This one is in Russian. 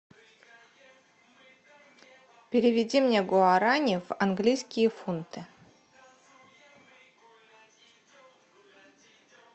переведи мне гуарани в английские фунты